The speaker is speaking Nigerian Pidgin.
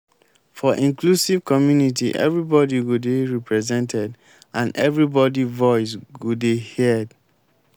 for inclusive community everybody go dey represented and everybody voice go dey heared